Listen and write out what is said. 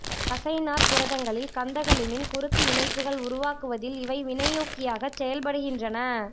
தசைநார்ப் புரதங்களில் கந்தகலிமின் குறுக்கு இணைப்புகள் உருவாக்குவதில் இவை வினையூக்கியாகச் செயல்படுகின்றன